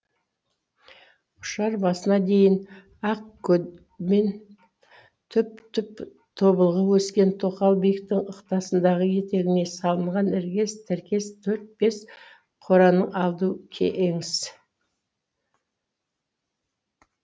ұшар басына дейін ақ көдем түп түп тобылғы өскен тоқал биіктің ықтасынды етегіне салынған іркес тіркес төрт бес қораның алду кеңіс